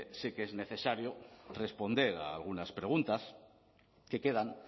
sí que es necesario responder a algunas preguntas que quedan